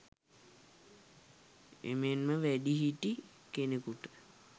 එමෙන්ම වැඩිහිටි කෙනෙකුට